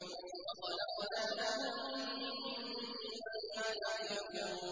وَخَلَقْنَا لَهُم مِّن مِّثْلِهِ مَا يَرْكَبُونَ